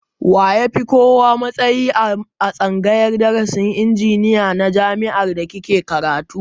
Wa ya fi kowa matsayi a tsangayar darasin injiniya na jami'ar da kike karatu